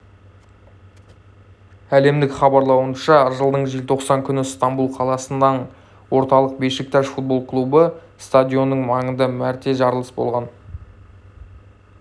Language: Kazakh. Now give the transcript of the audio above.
әлемдік хабарлауынша жылдың желтоқсан күні ыстанбұл қаласының орталығында бешикташ футбол клубы стадионының маңында мәрте жарылыс болған